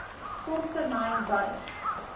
kort termyn by